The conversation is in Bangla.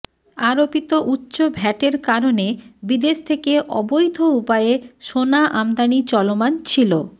আরোপিত উচ্চ ভ্যাটের কারণে বিদেশ থেকে অবৈধ উপায়ে সোনা আমদানি চলমান ছিল